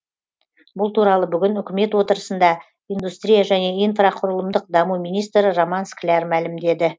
бұл туралы бүгін үкімет отырысында индустрия және инфрақұрылымдық даму министрі роман скляр мәлімдеді